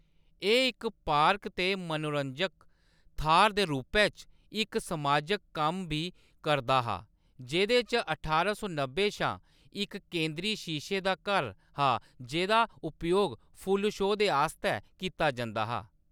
एह्‌‌ इक पार्क ते मनोरंजक थाह्‌‌‌र दे रूपै च इक समाजक कम्म बी करदा हा, जेह्‌‌‌दे च ठारां सौ नब्बे शा इक केंद्री शीशे दा घर हा जेह्‌दा उपयोग फुल्ल शो दे आस्तै कीता जंदा हा।